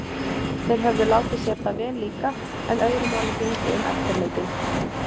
Þeir höfðu látið sér það vel líka- en öðru máli gegndi um eftirleikinn.